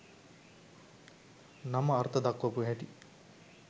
නම අර්ථ දක්වපු හැටි